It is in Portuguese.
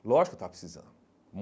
Lógico que eu estava precisando.